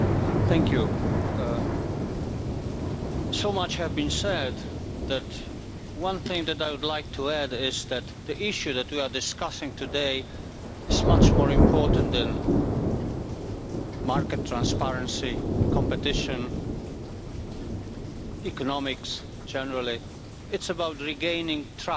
Mr President, so much has been said, but one thing that I would like to add is that the issue that we are discussing today is much more important than market transparency, competition and economics generally it's about regaining trust